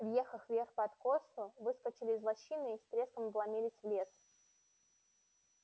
въехав вверх по откосу выскочили из лощины и с треском вломились в лес